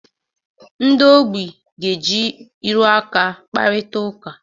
Ndị ogbi ga-eji ịrụ aka kparịta ụka.